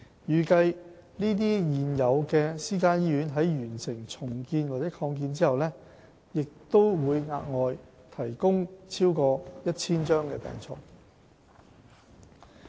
預計這些現有私營醫院在完成重建或擴建後，將額外提供超過 1,000 張病床。